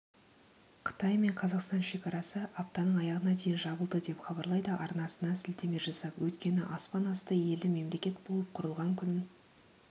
қытай мен қазақстан шекарасы аптаның аяғына дейін жабылды деп хабарлайды арнасына сілтеме жасап өйткені аспан асты елі мемлекет болып құрылған күнін